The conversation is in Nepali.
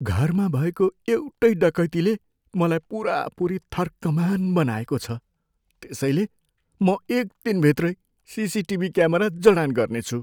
घरमा भएको एउटै डकैतीले मलाई पुरापुरी थर्कमान बनाएको छ। त्यसैले म एक दिनभित्रै सिसिटिभी क्यामेरा जडान गर्नेछु।